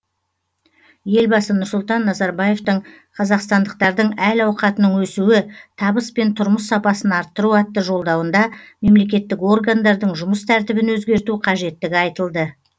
елбасы нұрсұлтан назарбаевтың қазақстандықтардың әл ауқатының өсуі табыс пен тұрмыс сапасын арттыру атты жолдауында мемлекеттік органдардың жұмыс тәртібін өзгерту қажеттігі айтылды